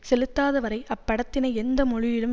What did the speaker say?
செலுத்தாதவரை அப்படத்தினை எந்த மொழியிலும்